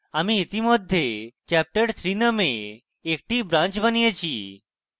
আমি ইতিমধ্যে chapterthree named একটি branch বানিয়েছি